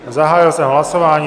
Zahájil jsem hlasování.